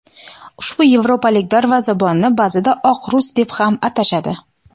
Ushbu yevropalik darvozabonni ba’zida "Oq rus" deb ham atashadi.